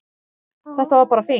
Þetta var bara fínt